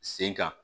Sen kan